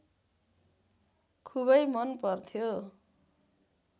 खुबै मन पर्थ्यो